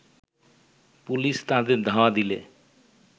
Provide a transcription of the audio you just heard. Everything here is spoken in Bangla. পুলিশ তাদের ধাওয়া দিলে